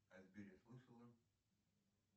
о сбере слышала